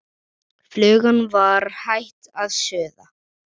Flugan var hætt að suða.